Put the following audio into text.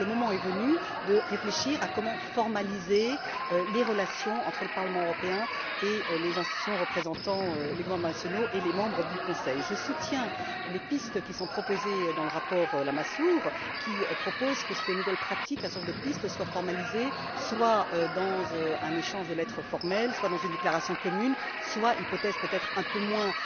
Le moment est donc venu de réfléchir à comment formaliser les relations entre le Parlement européen et les institutions représentant les gouvernements nationaux et les membres du Conseil. Je soutiens les pistes qui sont proposées dans le rapport Lamassoure, qui propose que ces nouvelles pratiques, un certain nombre de pistes soient formalisées, soit dans un échange de lettres formel, soit dans une déclaration commune, soit hypothèse peut être un peu moins